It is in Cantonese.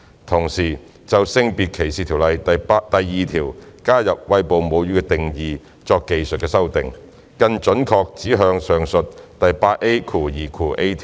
同時，就《性別歧視條例》第2條加入"餵哺母乳"的定義作技術性修訂，更準確指向上述第 8A2a 條。